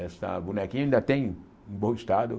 Essa bonequinha ainda tem um bom estado.